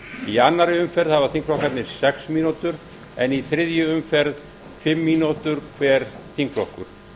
í annarri umferð hafa þingflokkarnir sex mínútur en í þriðju umferð fimm mínútur hver þingflokkur